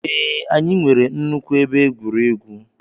Ee, anyị nwere nnukwu ebe egwuregwu.